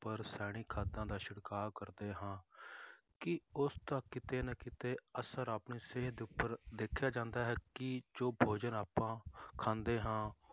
ਉੱਪਰ ਰਸਾਇਣਿਕ ਖਾਦਾਂ ਦਾ ਛਿੜਕਾਅ ਕਰਦੇ ਹਾਂ ਕੀ ਉਸਦਾ ਕਿਤੇ ਨਾ ਕਿਤੇ ਅਸਰ ਆਪਣੀ ਸਿਹਤ ਉੱਪਰ ਦੇਖਿਆ ਜਾਂਦਾ ਹੈ ਕੀ ਜੋ ਭੋਜਨ ਆਪਾਂ ਖਾਂਦੇ ਹਾਂ